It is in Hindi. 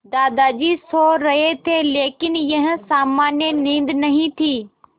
दादाजी सो रहे थे लेकिन यह सामान्य नींद नहीं थी